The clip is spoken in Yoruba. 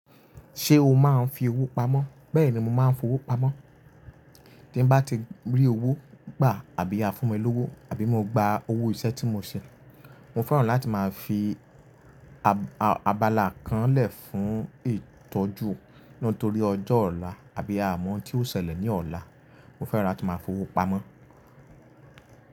Ṣé o máa ń fi owó pamọ́? Bẹ́ẹ̀ni, mo máa ń fi owó pamọ́. Tí n bá ti rí owó gbà àbí a fún mi lówó àbí mo gba owó iṣẹ́ tí mo ṣe mo fẹ́ràn láti máa fi abala kan lè fún ìtọ́jú nítorí ọjọ́ ọ̀la àbí a mọ̀ oun ti oṣẹlẹ̀ ní ọ̀la. Mo fẹ́rà kin máa fi owó pamọ́.